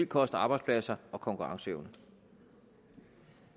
koste arbejdspladser og konkurrenceevne